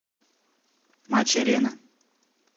матч арена